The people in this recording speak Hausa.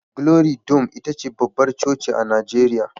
Glory dome ita ce babbar coci a Najeriya